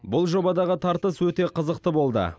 бұл жобадағы тартыс өте қызықты болды